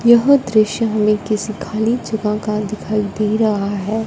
यह दृश्य हमें किसी खाली जगह का दिखाई दे रहा है।